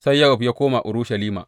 Sai Yowab ya koma Urushalima.